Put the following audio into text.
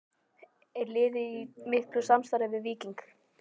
Er liðið í miklu samstarfi við Víking?